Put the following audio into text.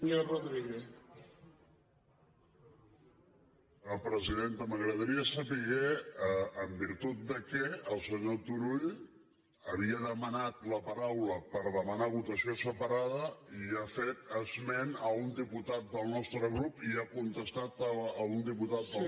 senyora presidenta m’agradaria saber en virtut de què el senyor turull havia demanat la paraula per demanar votació separada i ha fet esment a un diputat del nostre grup i ha contestat a un diputat del nostre grup